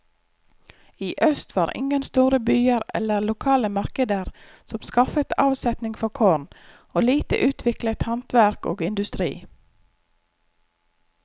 I øst var ingen store byer eller lokale markeder som skaffet avsetning for korn, og lite utviklet handverk og industri.